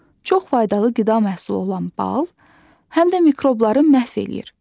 Çox faydalı qida məhsulu olan bal həm də mikrobları məhv eləyir.